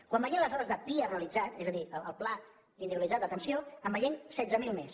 quan veiem les dades de pia realitzat és a dir el pla individualitzat d’atenció en veiem setze mil més